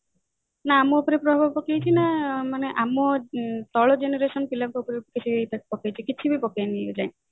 ନା ଆମ ଉପରେ ପ୍ରଭାବ ପକେଇଛି ନା ଆମ ତଳ generation ପିଲାଙ୍କ ଉପରେ କିଛି effect ପକେଇଛି କି କିଛି ବି ପକେଇନି